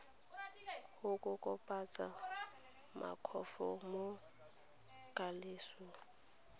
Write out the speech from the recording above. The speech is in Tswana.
go kokobatsa makgwafo mo tlalelong